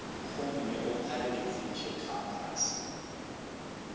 gomme o phare ditsebišo kampase